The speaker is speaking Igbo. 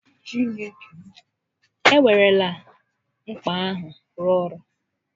E werela mkpa ahụ rụọ ọrụ